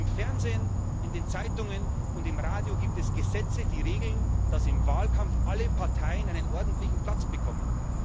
Im Fernsehen, in den Zeitungen und im Radio gibt es Gesetze, die regeln, dass im Wahlkampf alle Parteien einen ordentlichen Platz bekommen.